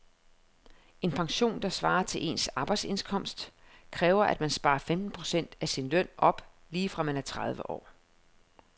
En pension, der svarer til ens arbejdsindkomst, kræver at man sparer femten procent af sin løn op lige fra man er tredive år.